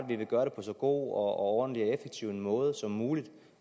vi vil gøre det på så god ordentlig og effektiv en måde som muligt